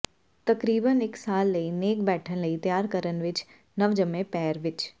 ਤਕਰੀਬਨ ਇਕ ਸਾਲ ਲਈ ਨੇਕ ਬੈਠਣ ਲਈ ਤਿਆਰ ਕਰਨ ਵਿੱਚ ਨਵਜੰਮੇ ਪੈਰ ਵਿਚ